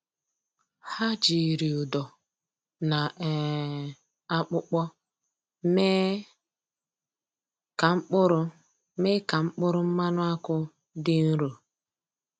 Ha jiri ụdọ na um akpụkpọ mee ka mkpụrụ mee ka mkpụrụ mmanụ akwụ dị nro.